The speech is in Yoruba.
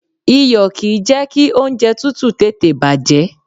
Iyò kìí jẹ́ ki oúnjẹ tútù tètè bàjẹ́